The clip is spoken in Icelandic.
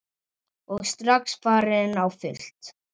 Og strax farin á fullt.